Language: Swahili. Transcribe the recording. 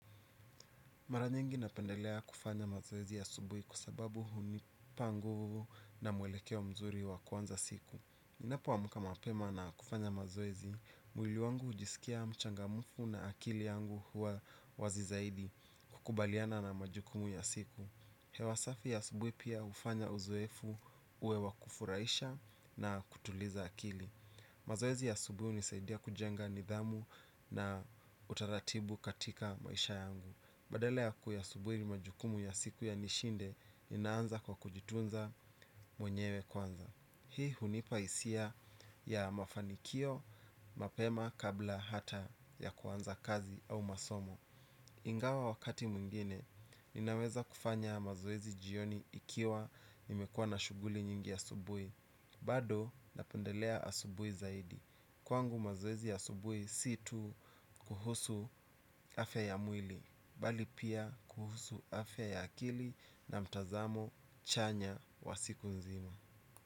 Mara nyingi napendelea kufanya mazoezi asubuhi kwa sababu hunipa nguvu na mwelekeo wa mzuri wakuanza siku. Ninapo amka mapema na kufanya mazoezi, mwili wangu hujisikia mchangamufu na akili yangu huwa wazi zaidi kukubaliana na majukumu ya siku. Hewa safi ya asubuhi pia hufanya uzoefu uwe wa kufurahisha na kutuliza akili. Mazoezi ya asubuhi hunisaidia kujenga nidhamu na utaratibu katika maisha yangu. Badala ya kuyasubiri majukumu ya siku yanishinde ninaanza kwa kujitunza mwenyewe kwanza hii hunipa hisia ya mafanikio mapema kabla hata ya kwanza kazi au masomo. Ingiwa wakati mwingine ninaweza kufanya mazoezi jioni ikiwa nimekuwa na shughuli nyingi asubuhi bado napendelea asubuhi zaidi kwangu mazoezi ya asubuhi si tu kuhusu afya ya mwili bali pia kuhusu afya ya akili na mtazamo chanya wa siku nzima.